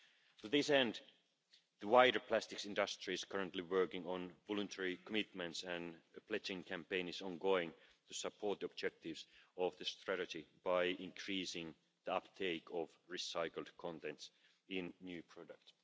To this end, the wider plastics industry is currently working on voluntary commitments, and a pledging campaign is ongoing to support objectives of this strategy by increasing the uptake of recycled contents in new products.